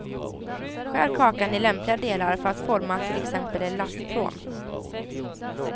Skär kakan i lämpliga delar för att forma till exempel en lastpråm.